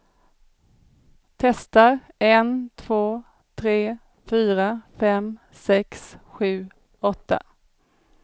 Testar en två tre fyra fem sex sju åtta.